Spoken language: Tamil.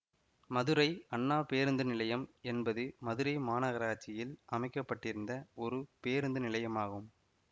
மதுரை அண்ணா பேருந்து நிலையம் என்பது மதுரை மாநகராட்சியில் அமைக்க பட்டிருந்த ஒரு பேருந்து நிலையமாகும்